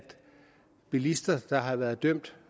bilister der har været dømt